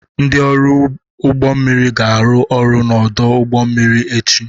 Ndị ọrụ ụgbọ mmiri ga-arụ ọrụ n'ọdụ ụgbọ mmiri echi.